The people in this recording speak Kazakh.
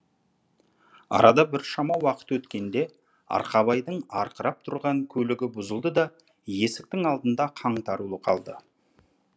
арада біршама уақыт өткенде арқабайдың арқырап тұрған көлігі бұзылды да есіктің алдында қаңтарулы қалды